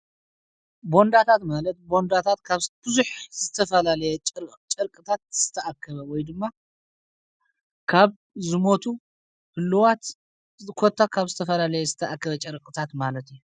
ቦንዳታት ማለት ቦንዳታት ካብ ብዙሕ ዝተፈላለየ ጨርቅታት ዝተኣከበ ወይ ድማ ካብ ዝሞቱ ህሉዋት ዝኰታ ካብ ዝተፈላለየ ዝተኣክበ ጨርቕታት ማለት እዩ